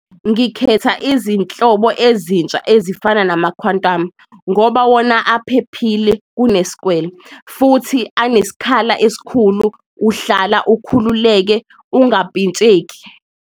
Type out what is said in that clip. Ngikhetha izinhlobo ezintsha ezifana nama-Quantum ngoba wona aphephile kunesikwele, futhi aneskhala esikhulu uhlala ukhululeke ungampintsheki.